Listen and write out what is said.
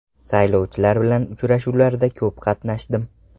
Saylovchilar bilan uchrashuvlarda ko‘p qatnashdim.